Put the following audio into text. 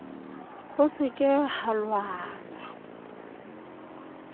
ho se ke ha lwanwa